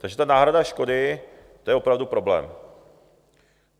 Takže ta náhrada škody, to je opravdu problém.